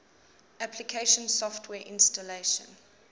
application software installation